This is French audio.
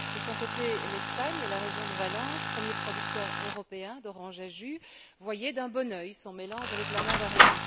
De son côté, l'Espagne et la région de Valence premier producteur européen d'oranges à jus, voyait d'un bon œil son mélange avec la mandarine.